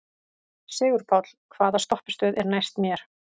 Sigurpáll, hvaða stoppistöð er næst mér?